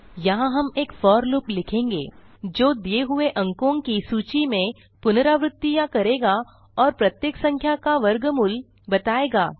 यहाँ हम एक फोर लूप लिखेंगे जो दिए हुए अंको की सूची में पुनरावृतियाँ करेगा और प्रत्येक संख्या का वर्गमूल बताएगा